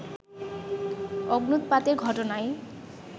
অগ্ন্যুৎপাতের ঘটনায়